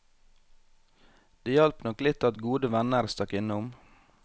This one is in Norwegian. Det hjalp nok litt at gode venner stakk innom.